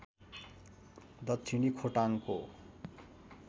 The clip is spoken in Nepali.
दक्षिणी खोटाङको